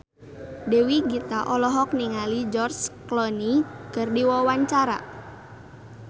Dewi Gita olohok ningali George Clooney keur diwawancara